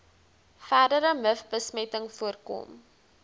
verdere mivbesmetting voorkom